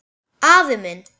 Afi minn